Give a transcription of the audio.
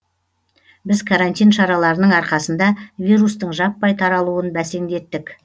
біз карантин шараларының арқасында вирустың жаппай таралуын бәсеңдеттік